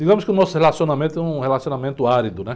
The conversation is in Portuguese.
Digamos que o nosso relacionamento é um relacionamento árido, né?